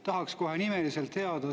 Tahaks kohe nimeliselt teada.